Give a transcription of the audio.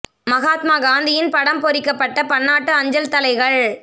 மகாத்மா காந்தியின் படம் பொறிக்கப்பட்ட பன்னாட்டு அஞ்சல் தலைகள்